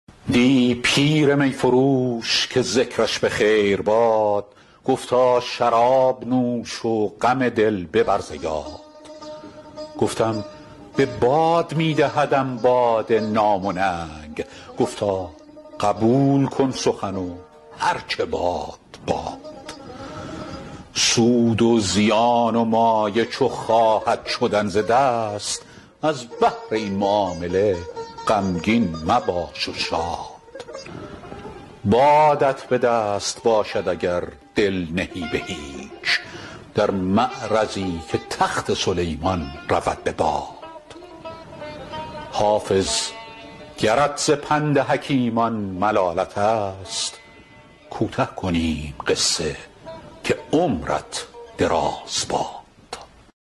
دی پیر می فروش که ذکرش به خیر باد گفتا شراب نوش و غم دل ببر ز یاد گفتم به باد می دهدم باده نام و ننگ گفتا قبول کن سخن و هر چه باد باد سود و زیان و مایه چو خواهد شدن ز دست از بهر این معامله غمگین مباش و شاد بادت به دست باشد اگر دل نهی به هیچ در معرضی که تخت سلیمان رود به باد حافظ گرت ز پند حکیمان ملالت است کوته کنیم قصه که عمرت دراز باد